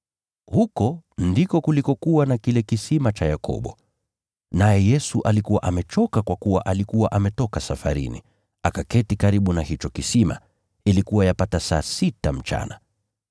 Huko ndiko kulikokuwa na kile kisima cha Yakobo. Naye Yesu alikuwa amechoka kwa kuwa alikuwa ametoka safarini. Akaketi karibu na hicho kisima. Ilikuwa yapata saa sita mchana.